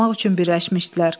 qorumaq üçün birləşmişdilər.